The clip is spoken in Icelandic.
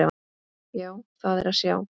Já, það er að sjá.